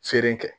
Feere kɛ